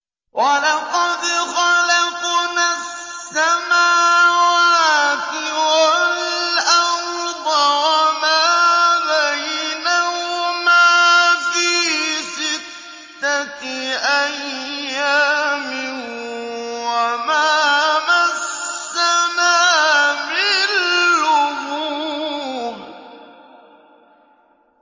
وَلَقَدْ خَلَقْنَا السَّمَاوَاتِ وَالْأَرْضَ وَمَا بَيْنَهُمَا فِي سِتَّةِ أَيَّامٍ وَمَا مَسَّنَا مِن لُّغُوبٍ